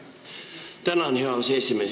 Tänan, hea aseesimees!